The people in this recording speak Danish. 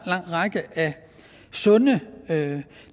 række af sunde